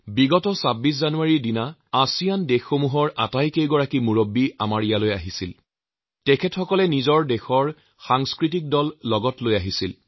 যোৱা ২৬ জানুৱাৰীৰ কাৰ্যসূচীত আছিয়ানৰ সদস্য ৰাষ্ট্ৰসমূহৰ প্ৰতিনিধিসকলে ভাগ লৈছিল আৰু তেওঁলোকে লগত বিভিন্ন সাংস্কৃতিক দলো আনিছিল